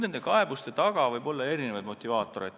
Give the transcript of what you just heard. Kaebuste taga võib olla erinevaid motivaatoreid.